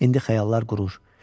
İndi xəyallar qurur.